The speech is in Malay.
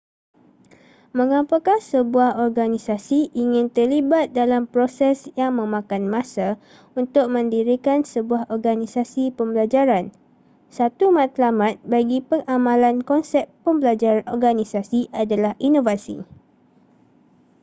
mengapakah sebuah organisasi ingin terlibat dalam proses yang memakan masa untuk mendirikan sebuah organisasi pembelajaran satu matlamat bagi pengamalan konsep pembelajaran organisasi adalah inovasi